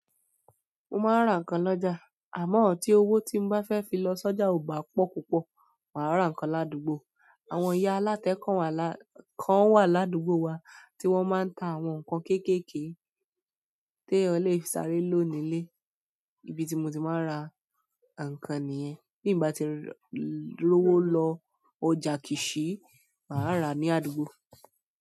Mo máa ń ra ǹkan lọ́jà àmọ́ tí owó tí mo bá fẹ́ fi lọ sọ́jà ò bá pọ̀ púpọ̀, màá ra ǹkan ládùgbò. Àwọn ìyá alátẹ kan wà ládùgbò wa tí wọ́n máa ń ta àwọn nǹkan kéékèèké tí èèyàn lè fi sáré lò nílé. Ibi tí mo ti máa ń ra ǹkan nìyẹn. Ti m ba ti lowo lo ọjà kisii, maa ra ladugbo.